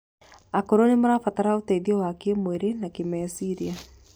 Akũrũ nĩmarabatara ũteithio wa kĩmwĩrĩ na kĩmecirĩa